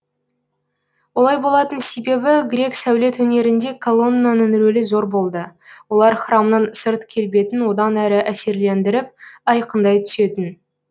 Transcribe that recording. олай болатын себебі грек сәулет өнерінде колоннаның рөлі зор болды олар храмның сырт келбетін одан әрі әсерлендіріп айқындай түсетін